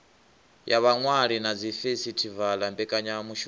ya vhaṅwali na dzifesitivala mbekanyamishumo